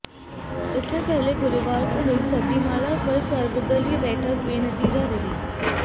इससे पहले गुरुवार को हुई सबरीमाला पर सर्वदलीय बैठक बेनतीजा रही